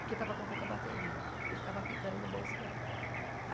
porque estava com pouca bateria e ficava apitando no bolso dela.